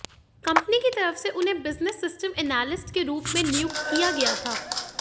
company की तरफ से उन्हें बिजनेस सिस्टम एनालिस्ट के रूप में नियुक्त किया गया था